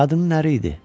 Qadının əri idi.